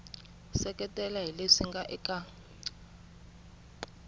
seketela hi leswi nga eka